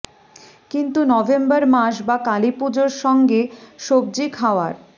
কিন্তু নভেম্বর মাস বা কালী পুজোর সঙ্গে সবজি খাওয়ার